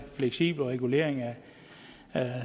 fleksibel regulering af